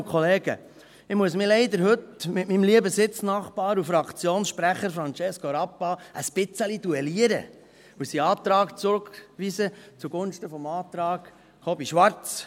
Ich muss mich leider heute mit meinem lieben Sitznachbar und Fraktionssprecher Francesco Rappa ein wenig duellieren und seinen Antrag zurückweisen zugunsten des Antrags Kobi Schwarz.